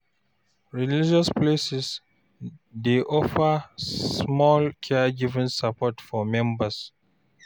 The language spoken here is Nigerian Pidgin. Religious places sometimes dey offer small caregiving support for members